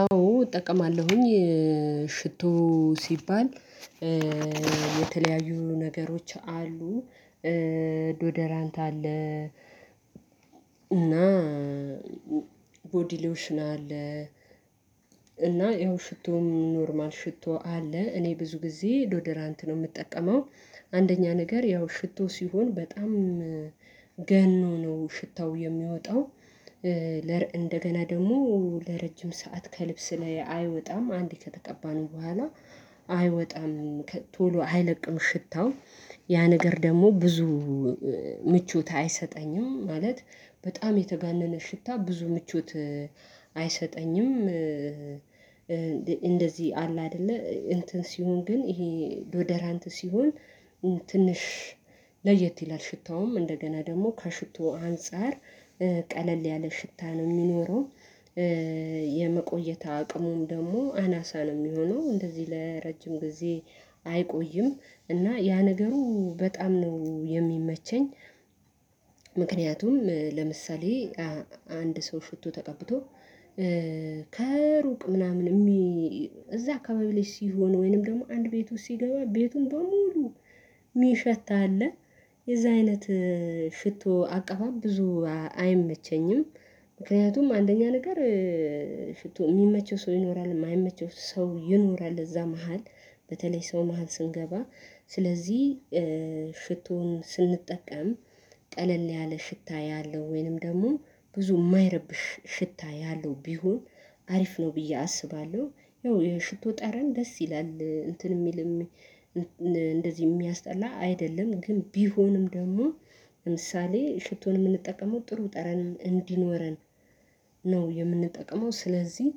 አዎ እጠቀማለሁኝ ሽቶ ሲባል የተለያዩ ነገሮች አሉ ዶደራንት አለ። እና ቦዲ ሎሽን አለ እና ይኸው ሽቶም ኖርማል ሽቶ አለ። እኔ ብዙ ጊዜ ዶደራ ነው የምጠቀመው። አንደኛ ነገር ያው ሽቶ ሲሆን በጣም ገኖ ነው ሽታው የሚወጣው። እንደገና ደግሞ ለረጅም ሰዓት ከልብስ ላይ አይወጣም አንዴ ከተገባን በኋላ አይወጣም ቶሎ አይለቅም። ሽታው ያ ነገር ደግሞ ብዙ ምቾት አይሰጠኝም ማለት በጣም የተጋነነ ሽታ ብዙ ምቾት አይሰጠኝም። እንደዚህ አለ አይደለ እንትን ሲሆን ግን ይሄ ዶደራንት ሲሆን ትንሽ ለየት ይላል ሽታውም እንደገና ደግሞ ከሽቶ አንፃር ቀለል ያለ ሽታ ነው የሚኖረው። የመቆየት አቅሙን ደግሞ አናሳ ነው የሚሆነው እንደዚህ ለረጅም ጊዜ አይቆይም እና ያ ነገሩ በጣም ነው የሚመቸኝ። ምክንያቱም ለምሳሌ አንድ ሰው ሽቶ ተቀብቶ ከሩቅ ምናምን የሚ እዛ አካባቢ ልጅ ሲሆን ወይንም ደግሞ አንድ ቤት ውስጥ ሲገባ ቤቱን በሙሉ ሚሸት አለ የዛ አይነት ሽቶ አቀባብ ብዙ አይመቸኝም። ምክንያቱም አንደኛ ነገር ሽቶ የሚመቸው ሰው ይኖራል የማይመቸው ሰው ይኖራል። እዛ መሃል በተለይ ሰው መሃል ስንገባ ስለዚህ ሽቶን ስንጠቀም ቀለል ያለ ሽታ ያለው ወይንም ደግሞ ብዙ የማይረብሽ ሽታ ያለው ቢሆን አሪፍ ነው። ብዬ አስባለሁ ያው የሽቶ ጠረን ደስ ይላል እንትን የሚል እንደዚህ የሚያስጠላ አይደለም። ግን ቢሆንም ደግሞ ለምሳሌ ሽቶን የምንጠቀመው ጥሩ ጠረን እንዲኖረን ነው የምንጠቀመው። ስለዚህ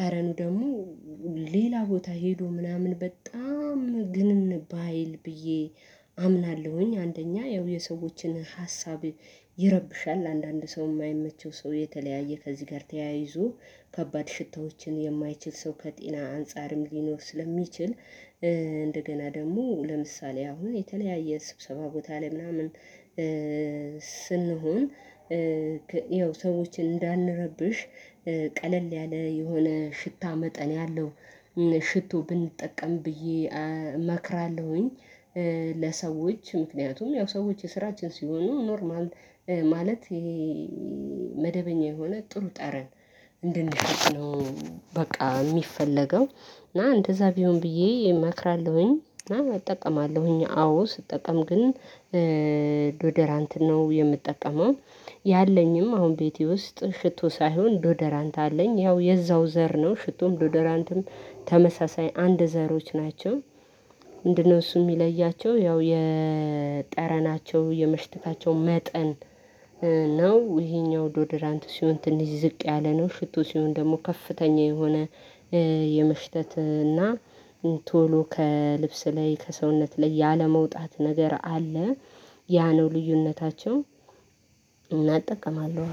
ጠረኑ ደግሞ ሌላ ቦታ ሄዶ ምናምን በጣም ግን ባይል ብዬ አምናለሁኝ አንደኛ ያው የሰዎችን ሀሳብ ይረብሻል። አንዳንድ ሰው የማይመቸው ሰው የተለያየ ከዚህ ጋር ተያይዞ ከባድ ሽታዎችን የማይችል ሰው ከጤና አንፃርም ሊኖር ስለሚችል። እንደገና ደግሞ ለምሳሌ አሁን የተለያየ ስብሰባ ቦታ ላይ ምናምን ስንሆን ያው ሰዎችን እንዳንረብሽ ቀለል ያለ የሆነ ሽታ መጠን ያለው ሽቶ ብንጠቀም ብዬ እመክራለሁኝ። ለሰዎች ምክንያቱም ያው ሰዎች የስራችን ሲሆኑ ኖርማል ማለት ይሄ መደበኛ የሆነ ጥሩ ጠረን እንደነበርክ ነው በቃ የሚፈለገው። እና እንደዛ ቢሆን ብዬ እመክራለሁኝ እና እጠቀማለሁኝ አዎ ስጠቀም ግን ዶደራንት ነው የምጠቀመው። ያለኝም አሁን ቤቴ ውስጥ ሽቶ ሳይሆን ዶደራንት አለኝ ያው የዛው ዘር ነው ሽቶም ዶዶራንድም ተመሳሳይ አንድ ዘሮች ናቸው። ምንድነው? እሱ የሚለያቸው ያው የጠረናቸው የምሽትታቸው መጠን ነው። ይሄኛው ዶዶራንት ሲሆን ትንሽ ዝቅ ያለ ነው ሽቶ ሲሆን ደግሞ ከፍተኛ የሆነ የመሽተት እና ቶሎ ከልብስ ላይ ከሰውነት ላይ ያለመውጣት ነገር አለ ያ ነው ልዩነታቸው። እና እጠቀማለሁ።